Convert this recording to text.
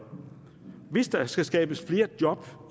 hvis der skal skabes flere job